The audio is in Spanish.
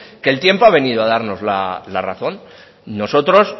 que el tiempo ha venido a darnos la razón nosotros